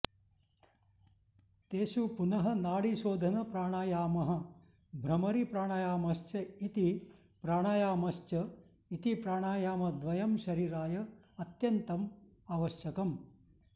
तेषु पुनः नाडीशोधनप्राणायामः भ्रमरी प्राणायामश्च इति प्राणायामश्च इति प्राणायामद्वयं शरीराय अत्यन्तम् आवश्यकम्